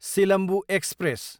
Silambu express